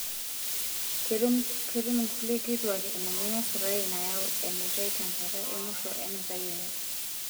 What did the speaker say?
Ketum nkulie kituak emoyian esukari nayau enutai tenkata emusho enutai enye.